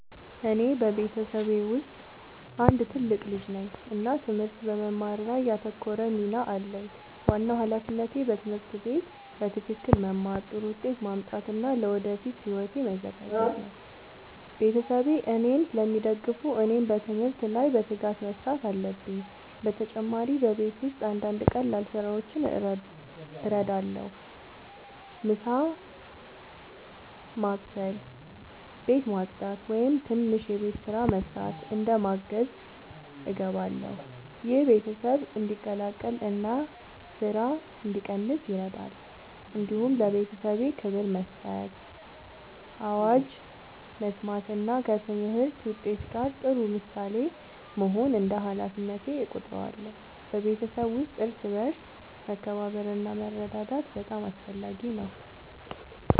እኔ በቤተሰቤ ውስጥ አንድ ትልቅ ልጅ ነኝ እና ትምህርት በመማር ላይ ያተኮረ ሚና አለኝ። ዋናው ሃላፊነቴ በትምህርት ቤት በትክክል መማር፣ ጥሩ ውጤት ማምጣት እና ለወደፊት ሕይወቴ መዘጋጀት ነው። ቤተሰቤ እኔን ስለሚደግፉ እኔም በትምህርት ላይ በትጋት መስራት አለብኝ። በተጨማሪ በቤት ውስጥ አንዳንድ ቀላል ስራዎችን እረዳለሁ። ምሳ መስበስ፣ ቤት ማጽዳት ወይም ትንሽ የቤት ስራ መስራት እንደ ማገዝ እገባለሁ። ይህ ቤተሰብ እንዲቀላቀል እና ስራ እንዲቀንስ ይረዳል። እንዲሁም ለቤተሰቤ ክብር መስጠት፣ አዋጅ መስማት እና ከትምህርት ውጤት ጋር ጥሩ ምሳሌ መሆን እንደ ሃላፊነቴ እቆጥራለሁ። በቤተሰብ ውስጥ እርስ በርስ መከባበር እና መረዳዳት በጣም አስፈላጊ ነው።